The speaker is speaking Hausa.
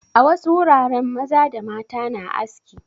A wasu wuraren maza da mata na aski.